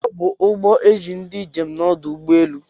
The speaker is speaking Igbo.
Ọbu uhbọ eji ndi njem n'ọdụ ụgbọ elu.